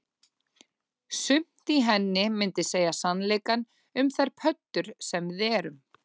Sumt í henni myndi segja sannleikann um þær pöddur sem við erum